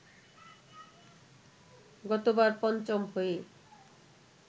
গতবার পঞ্চম হয়ে